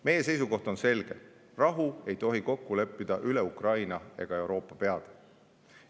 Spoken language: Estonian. Meie seisukoht on selge: rahu ei tohi kokku leppida üle Ukraina ega Euroopa peade.